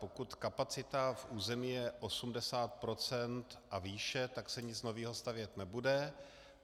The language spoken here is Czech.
Pokud kapacita v území je 80 % a výše, tak se nic nového stavět nebude.